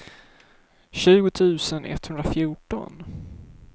tjugo tusen etthundrafjorton